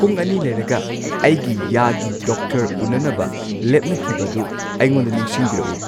ꯄꯨꯡ ꯑꯅꯤ ꯂꯩꯔꯒ ꯑꯩꯒꯤ ꯌꯥꯒꯤ ꯗꯣꯛꯇꯔ ꯎꯟꯅꯅꯕ ꯂꯦꯞꯅꯈꯤꯕꯗꯨ ꯑꯩꯉꯣꯟꯗ ꯅꯤꯡꯁꯤꯡꯕꯤꯔꯛꯎ